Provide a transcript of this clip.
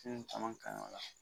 caman ka